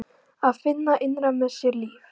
Að finna innra með sér líf.